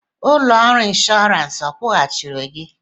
Ụlọ ọrụ inshọransị akwụghachi gị?